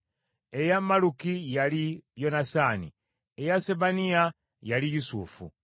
eya Malluki, yali Yonasaani; eya Sebaniya, yali Yusufu;